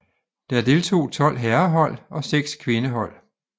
Der deltog tolv herrehold og seks kvindehold